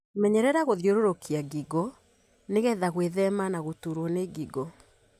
Menyerera gũthiũrurukia ngingo nĩgetha gwĩthema na gũturwo nĩ ngingo.